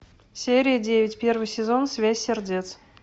серия девять первый сезон связь сердец